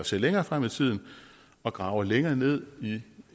ser længere frem i tiden og graver længere ned